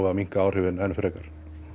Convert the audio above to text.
að minnka áhrifin enn frekar